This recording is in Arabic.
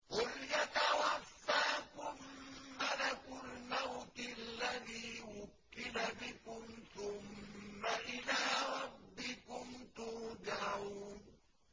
۞ قُلْ يَتَوَفَّاكُم مَّلَكُ الْمَوْتِ الَّذِي وُكِّلَ بِكُمْ ثُمَّ إِلَىٰ رَبِّكُمْ تُرْجَعُونَ